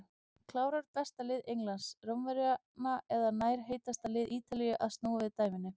Klárar besta lið Englands Rómverjana eða nær heitasta lið Ítalíu að snúa við dæminu?